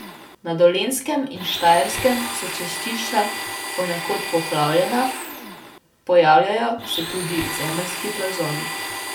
Na Dolenjskem in Štajerskem so cestišča ponekod poplavljena, pojavljajo se tudi zemeljski plazovi.